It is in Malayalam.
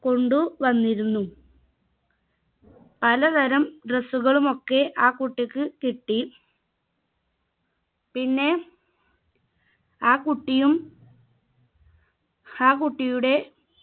കൊണ്ടു വന്നിരുന്നു പല തരം dress കളുമൊക്കെ ആ കുട്ടിക്ക് കിട്ടി പിന്നെ ആ കുട്ടിയും ആ കുട്ടിയുടെ